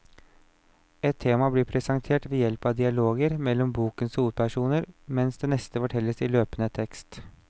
Ett tema blir presentert ved hjelp av dialoger mellom bokens hovedpersoner, mens det neste fortelles i løpende tekst.